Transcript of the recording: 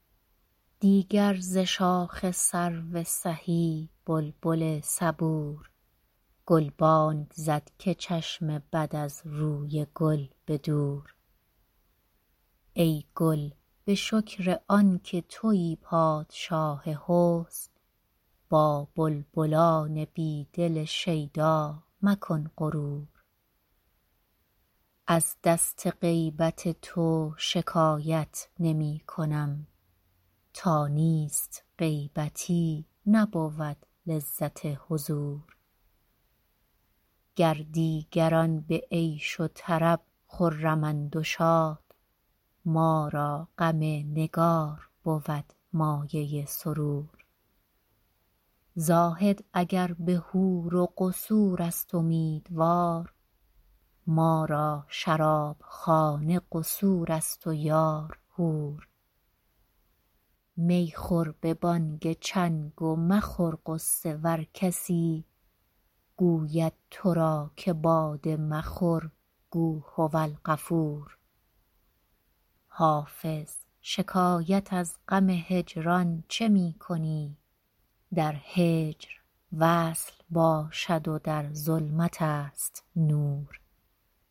دیگر ز شاخ سرو سهی بلبل صبور گلبانگ زد که چشم بد از روی گل به دور ای گل به شکر آن که تویی پادشاه حسن با بلبلان بی دل شیدا مکن غرور از دست غیبت تو شکایت نمی کنم تا نیست غیبتی نبود لذت حضور گر دیگران به عیش و طرب خرمند و شاد ما را غم نگار بود مایه سرور زاهد اگر به حور و قصور است امیدوار ما را شرابخانه قصور است و یار حور می خور به بانگ چنگ و مخور غصه ور کسی گوید تو را که باده مخور گو هوالغفور حافظ شکایت از غم هجران چه می کنی در هجر وصل باشد و در ظلمت است نور